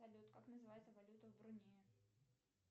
салют как называется валюта в брунее